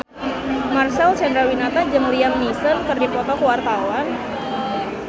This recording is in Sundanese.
Marcel Chandrawinata jeung Liam Neeson keur dipoto ku wartawan